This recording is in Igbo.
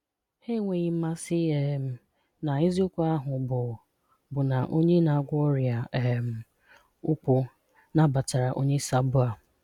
Ha enweghị mmasị um na eziokwu ahụ bụ bụ na Onye na-agwọ ọrịa um ukwu nabatara onye sabo a.